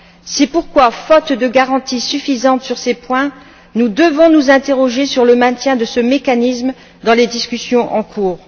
C'est pourquoi faute de garanties suffisantes sur ces points, nous devons nous interroger sur le maintien de ce mécanisme dans les discussions en cours.